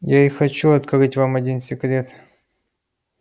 я и хочу открыть вам один секрет